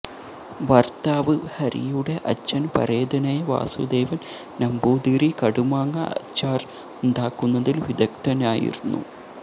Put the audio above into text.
ഭര്ത്താവ് ഹരിയുടെ അച്ഛന് പരേതനായ വാസുദേവന് നമ്പൂതിരി കടുമാങ്ങ അച്ചാര് ഉണ്ടാക്കുന്നതില് വിദഗ്ധനായിരുന്നു